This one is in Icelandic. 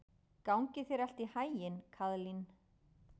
Gangi þér allt í haginn, Kaðlín.